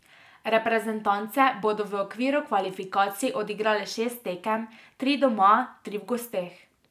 Reprezentance bodo v okviru kvalifikacij odigrale šest tekem, tri doma, tri v gosteh.